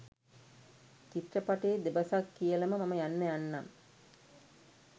චිත්‍රපටයේ දෙබසක් කියලම මම යන්න යන්නම්.